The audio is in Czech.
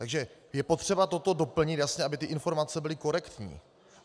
Takže je potřeba toto doplnit jasně, aby ty informace byly korektní.